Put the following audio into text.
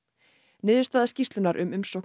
niðurstaða skýrslu um umsóknir